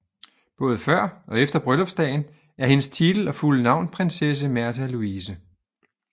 Både før og efter bryllupsdagen er hendes titel og fulde navn prinsesse Märtha Louise